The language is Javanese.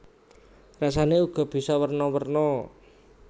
Rasané uga bisa werna werna